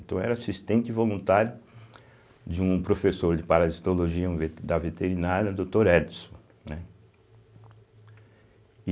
Então era assistente voluntário de um professor de parasitologia um ve da veterinária, doutor Edson, né?